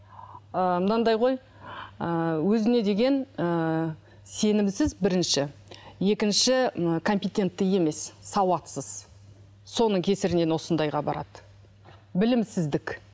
ыыы мынандай ғой ыыы өзіне деген ыыы сенімсіз бірінші екінші ы компинентті емес сауатсыз соның кесірінен осындайға барады білімсіздік